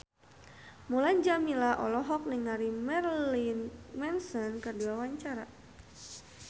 Mulan Jameela olohok ningali Marilyn Manson keur diwawancara